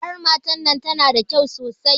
Farar matar nan tana da kyau sosai.